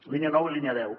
línia nou i línia deu